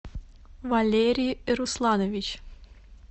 валерий русланович